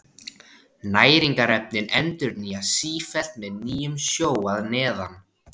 Næringarefnin endurnýjast sífellt með nýjum sjó að neðan.